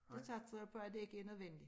Det satser jeg på at det ikke er nødvendigt